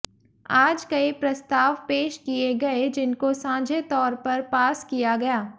आज कई प्रस्ताव पेश किये गये जिनको साझे तौर पर पास किया गया